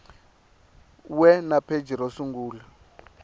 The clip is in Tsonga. we na pheji ro sungula